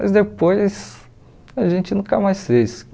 Mas depois a gente nunca mais fez.